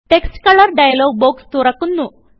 text colour dialogue box തുറക്കു ന്നു